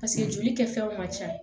joli kɛ fɛnw man ca